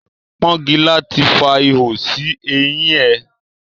Pọ́ngilá ti fa ihò sí eyín ẹ.